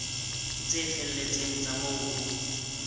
tse felletseng tsa moo ho